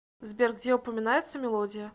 сбер где упоминается мелодия